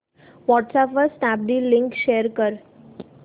WhatsApp वर Snapdeal link share कर